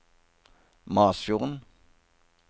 Masfjorden